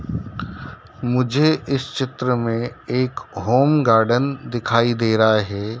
मुझे इस चित्र में एक होम गार्डन दिखाई दे रहा है।